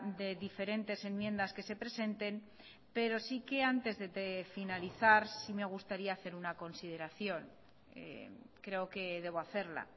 de diferentes enmiendas que se presenten pero sí que antes de finalizar sí me gustaría hacer una consideración creo que debo hacerla